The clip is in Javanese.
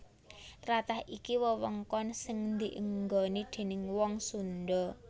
Tlatah iki wewengkon sing dienggoni déning wong Sundha